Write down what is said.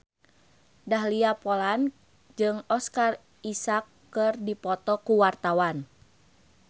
Dahlia Poland jeung Oscar Isaac keur dipoto ku wartawan